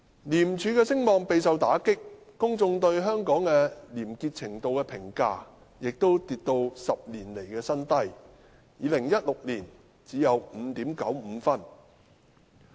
廉署的聲望備受打擊，公眾對香港廉潔程度的評價亦跌至10年來的新低 ，2016 年只有 5.95 分。